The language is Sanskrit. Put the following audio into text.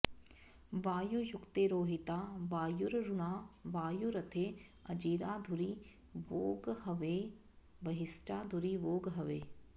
वायुर्युङ्क्ते रोहिता वायुररुणा वायू रथे अजिरा धुरि वोळ्हवे वहिष्ठा धुरि वोळ्हवे